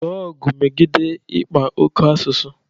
Lụọ ọgụ megide ịkpa oke asụsụ